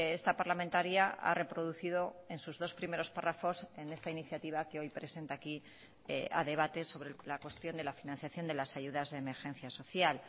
esta parlamentaria ha reproducido en sus dos primeros párrafos en esta iniciativa que hoy presenta aquí a debate sobre la cuestión de la financiación de las ayudas de emergencia social